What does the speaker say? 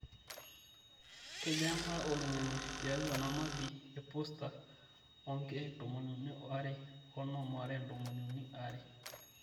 kejaa mbaa oloingange tiatua namabi e posta o nkiek ntomoni uni aare o onom aare ntomoni uni aare